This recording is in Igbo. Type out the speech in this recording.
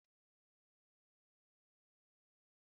Ágwala m njakịrị ahụ ọzọ!